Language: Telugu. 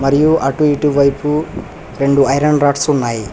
ఇవ్వు అటు ఇటు వైపు రెండు ఐరన్ రాడ్స్ ఉన్నాయి.